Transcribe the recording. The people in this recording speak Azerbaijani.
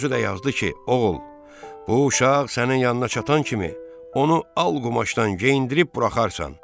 Özü də yazdı ki, oğul, bu uşaq sənin yanına çatan kimi onu al qumaşdan geyindirib buraxarsan.